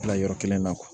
Bila yɔrɔ kelen na